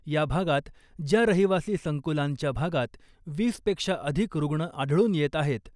या भागात ज्या रहिवासी संकुलांच्या भागात वीसपेक्षा अधिक रुग्ण आढळून येत आहेत,